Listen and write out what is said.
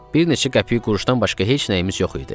Bir neçə qəpik-quruşdan başqa heç nəyimiz yox idi.